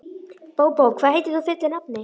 Bóbó, hvað heitir þú fullu nafni?